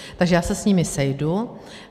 Takže já se s nimi sejdu.